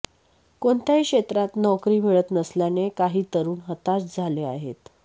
कोणत्याही क्षेत्रात नोकरी मिळत नसल्याने काही तरूण हताश झाले आहेत